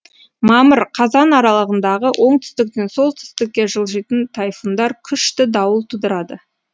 мамыр қазан аралығындағы оңтүстіктен солтүстікке жылжитын тайфундар күшті дауыл тудырады